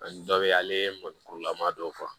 Ani dɔ be yen ale mɔnikurulama dɔw fɔ